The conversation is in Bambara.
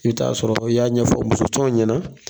I bi t'a sɔrɔ i y'a ɲɛfɔ musotɔ ɲɛna.